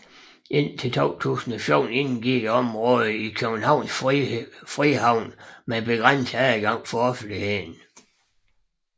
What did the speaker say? Indtil 2014 indgik området i Københavns Frihavn med begrænset adgang for offentligheden